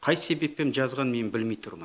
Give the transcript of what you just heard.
қай себеппен жазғанын мен білмей тұрмын